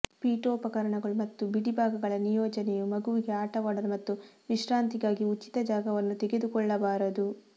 ಪೀಠೋಪಕರಣಗಳು ಮತ್ತು ಬಿಡಿಭಾಗಗಳ ನಿಯೋಜನೆಯು ಮಗುವಿಗೆ ಆಟವಾಡಲು ಮತ್ತು ವಿಶ್ರಾಂತಿಗಾಗಿ ಉಚಿತ ಜಾಗವನ್ನು ತೆಗೆದುಕೊಳ್ಳಬಾರದು